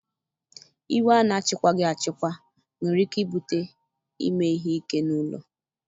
Iwe a na-achịkwaghị achịkwa nwere ike ibute ime ihe ike n'ụlọ